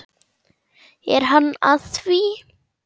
Er hann að því?